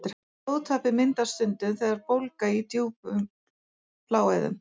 Blóðtappi myndast stundum sem bólga í djúpum bláæðum.